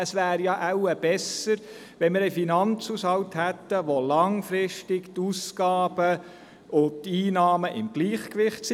Es wäre besser, wir hätten einen Finanzhaushalt, in welchem die Ausgaben und Einnahmen langfristig im Gleichgewicht sind.